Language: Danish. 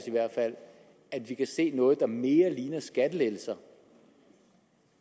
at vi kan se er noget der mere ligner skattelettelser